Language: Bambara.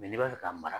n'i b'a fɛ ka mara